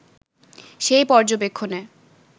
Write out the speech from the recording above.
সেই পর্যবেক্ষণে